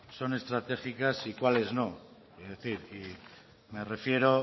son estratégica y cuáles no es decir me refiero